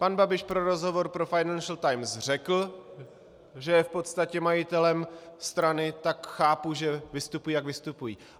Pan Babiš v rozhovoru pro Financial Times řekl, že je v podstatě majitelem strany, tak chápu, že vystupují, jak vystupují.